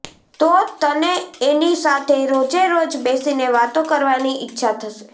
તો તને એની સાથે રોજેરોજ બેસીને વાતો કરવાની ઈચ્છા થશે